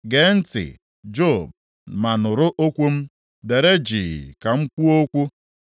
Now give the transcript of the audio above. “Gee ntị, Job, ma nụrụ okwu m; dere jii ka m kwuo okwu.